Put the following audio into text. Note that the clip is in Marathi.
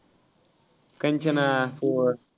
कंचना four